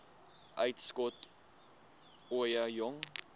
uitskot ooie jong